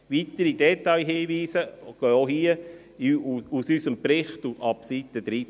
Weitere Detailhinweise gehen auch hierzu aus unserem Bericht hervor, ab Seite 13.